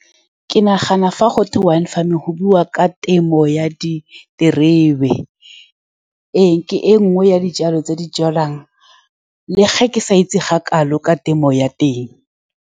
Ke nagana fa gotwe wine farming go buiwa ka temo ya diterebe. Ee, ke e nngwe ya dijalo tse di jalwang, le fa ke sa itse ga kalo ka temo ya teng.